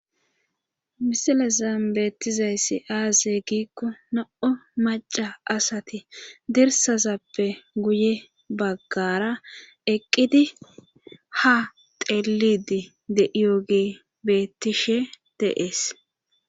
misile zaambettizayssi aaze giikko no7o maca asati dirsazappe guye baggara eqqidi ha telidi deiyoge beettishe deees